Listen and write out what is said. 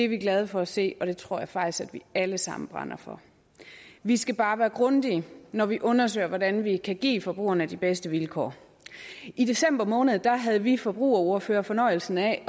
vi glade for at se og det tror jeg faktisk at vi alle sammen brænder for vi skal bare være grundige når vi undersøger hvordan vi kan give forbrugerne de bedste vilkår i december måned havde vi forbrugerordførere fornøjelsen af